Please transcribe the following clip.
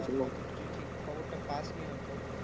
তাহলে হয়তো তুই ঠিক খবরটা পাসনি হয়তো।